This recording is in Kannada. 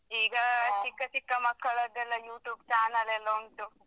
ಚಿಕ್ಕ ಚಿಕ್ಕ ಮಕ್ಕಳೇದೆಲ್ಲಾ YouTube channel ಎಲ್ಲ ಉಂಟು.